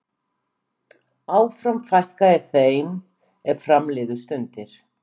Áfram fækkaði þeim er fram liðu stundir.